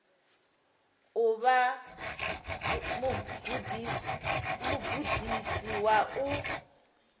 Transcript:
u vha mugudisi wa u